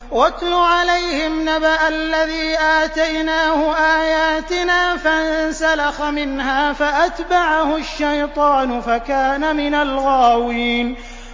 وَاتْلُ عَلَيْهِمْ نَبَأَ الَّذِي آتَيْنَاهُ آيَاتِنَا فَانسَلَخَ مِنْهَا فَأَتْبَعَهُ الشَّيْطَانُ فَكَانَ مِنَ الْغَاوِينَ